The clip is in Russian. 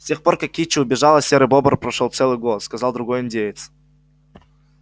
с тех пор как кичи убежала серый бобр прошёл целый год сказал другой индеец